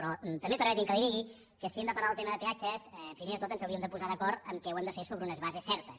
però també permeti’m que li digui que si hem de parlar del tema de peatges primer de tot ens hauríem de posar d’acord que ho hem de fer sobre unes bases certes